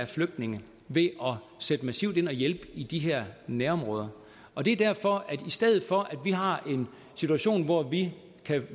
flygtninge ved at sætte massivt ind og hjælpe i de her nærområder og det er derfor at i stedet for at vi har en situation hvor vi